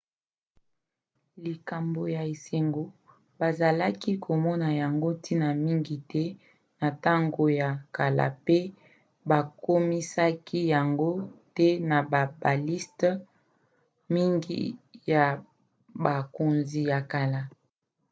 likambo ya esengo bazalaki komona yango ntina mingi te na ntango ya kala pe bakomisaki yango te na baliste mingi ya bakonzi ya kala